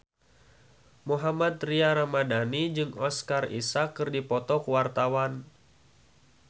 Mohammad Tria Ramadhani jeung Oscar Isaac keur dipoto ku wartawan